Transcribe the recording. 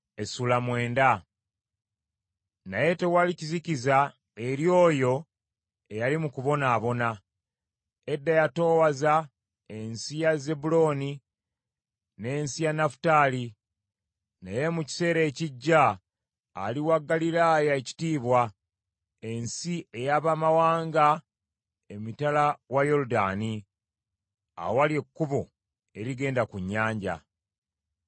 Naye tewaliba kizikiza eri oyo eyali mu kubonaabona. Edda yatoowaza ensi ya Zebbulooni n’ensi ya Nafutaali, naye mu kiseera ekijja aliwa Ggaliraaya ekitiibwa, ensi ey’abamawanga emitala wa Yoludaani, awali ekkubo erigenda ku nnyanja.